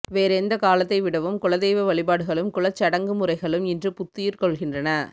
வேறெந்த காலத்தை விடவும் குலதெய்வ வழிபாடுகளும் குலச்சடங்குமுறைகளும் இன்று புத்துயிர் கொள்கின்றன